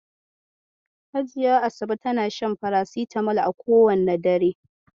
Hajiya Asabe tana shan farasitamol a kowane dare.